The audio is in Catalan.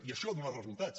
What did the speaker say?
i això ha donat resultats